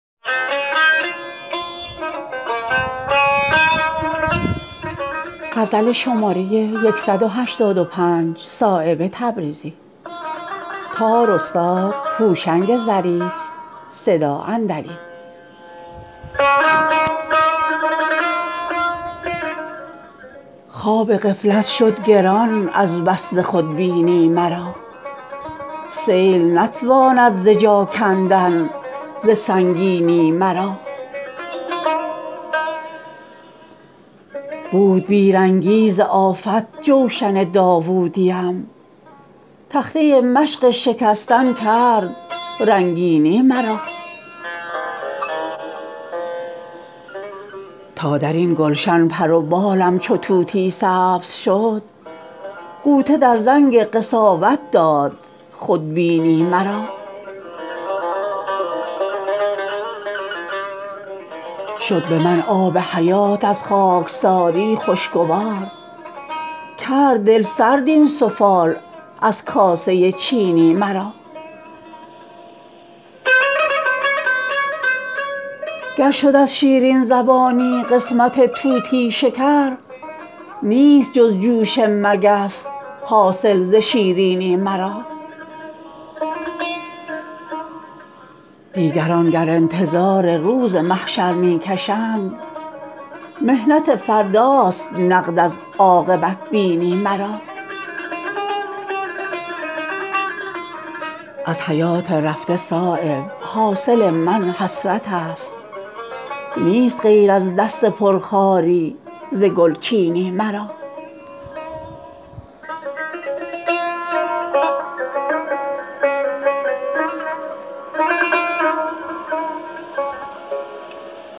خواب غفلت شد گران از بس ز خودبینی مرا سیل نتواند ز جا کندن ز سنگینی مرا بود بی رنگی ز آفت جوشن داودیم تخته مشق شکستن کرد رنگینی مرا تا درین گلشن پر و بالم چو طوطی سبز شد غوطه در زنگ قساوت داد خودبینی مرا شد به من آب حیات از خاکساری خوشگوار کرد دلسرد این سفال از کاسه چینی مرا گر شد از شیرین زبانی قسمت طوطی شکر نیست جز جوش مگس حاصل ز شیرینی مرا دیگران گر انتظار روز محشر می کشند محنت فرداست نقد از عاقبت بینی مرا از حیات رفته صایب حاصل من حسرت است نیست غیر از دست پرخاری ز گلچینی مرا